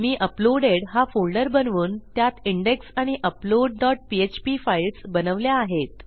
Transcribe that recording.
मी uploaded हा folder बनवून त्यात इंडेक्स आणि अपलोड डॉट पीएचपी फाईल्स बनवल्या आहेत